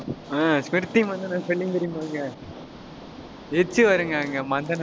ஆஹ் Smriti Mandhana spelling தெரியுமாங்க. h வருங்க அங்க மந்தனா பக்கத்துல